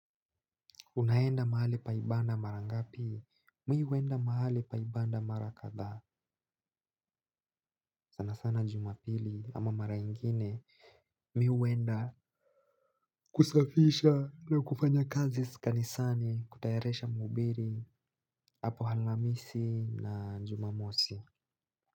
Unaenda mahali pa ibada marangapi, mi huenda mahali pa ibada mara kadhaa sana sana jumapili ama mara ingine mi huenda kusafisha na kufanya kazi kanisani kutayarisha mahubiri hapo alhamisi na jumamosi.